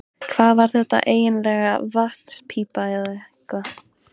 Hvað var þetta eiginlega, vatnspípa eða eitthvað?